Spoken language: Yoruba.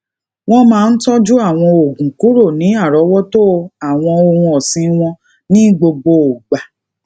wón máa ń tójú àwọn oògùn kuro ni arowoto awon ohun osin wọn ni gbogbo igba